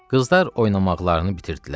Qızlar oynamaqlarını bitirdilər.